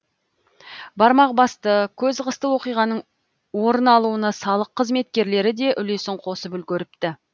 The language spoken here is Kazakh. бармақ басты көз қысты оқиғаның орын алуына салық қызметкерлері де үлесін қосып үлгеріпті